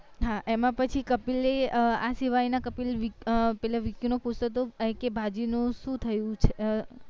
હા એમાં પછી કપિલ અય આ સિવાય ના કપિલ પેલા વીકી નું પૂછતો હતો આય કે ભાભી નું શું થયું